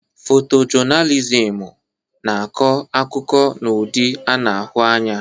Fotojọnalizimu na-akọ akụkọ n'ụdị a na-ahụ anya.